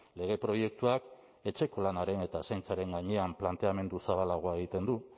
lege proiektuak etxeko lanaren eta zaintzaren gainean planteamendu zabalagoa egiten du